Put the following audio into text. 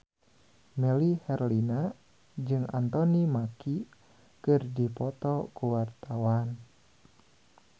Melly Herlina jeung Anthony Mackie keur dipoto ku wartawan